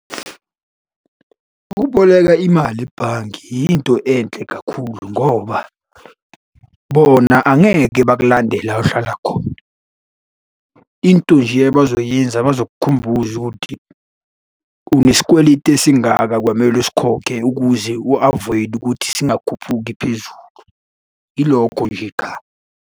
Ukuboleka imali ebhange yinto enhle kakhulu ngoba bona angeke bakulande la ohlala khona. Into nje abazoyenza bazokukhumbuza ukuthi unesikweletu esingaka kwamele usikhokhe ukuze u-avoid-e ukuthi singakhuphuki phezulu. Yilokho nje qha.